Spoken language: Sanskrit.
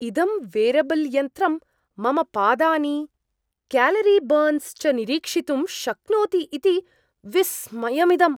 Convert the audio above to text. इदं वेरबल्यन्त्रं मम पादानि क्यालरिबर्न्स् च निरीक्षितुं शक्नोति इति विस्मयमिदम्।